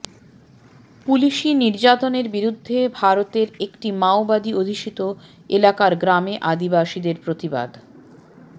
পুলিশি নির্যাতনের বিরুদ্ধে ভারতের একটি মাওবাদী অধ্যুষিত এলাকার গ্রামে আদিবাসীদের প্রতিবাদ